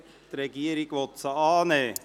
Die Regierung will diese annehmen.